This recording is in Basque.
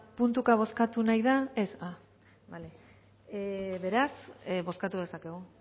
puntuka bozkatu nahi da ez bale beraz bozkatu dezakegu